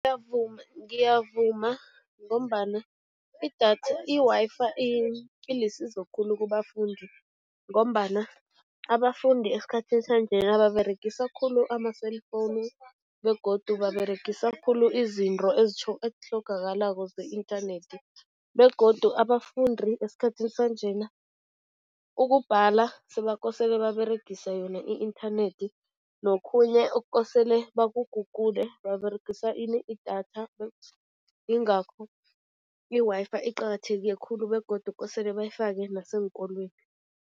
Ngiyavuma ngombana idatha, i-Wi-Fi ilisizo khulu kubafundi ngombana abafundi esikhathini sanjena baberegisa khulu ama-cellphone begodu baberegisa khulu izinto ezitlhogakalako ze-internet begodu abafundi esikhathini sanjena, ukubhala sebakosele baberegise yona i-internet nokhunye okukosele baku-google, baberegisa ini? Idata, ingakho i-Wi-Fi iqakatheke khulu begodu kosele bayifake naseenkolweni.